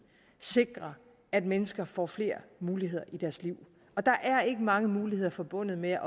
sikrer at mennesker får flere muligheder i deres liv og der er ikke mange muligheder forbundet med